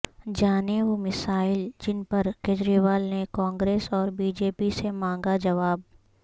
جانیں وہ مسائل جن پر کیجریوال نے کانگریس اور بی جے پی سے مانگا جواب